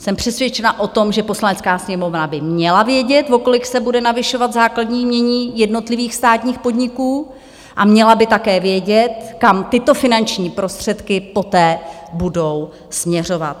Jsem přesvědčena o tom, že Poslanecká sněmovna by měla vědět, o kolik se bude navyšovat základní jmění jednotlivých státních podniků, a měla by také vědět, kam tyto finanční prostředky poté budou směřovat.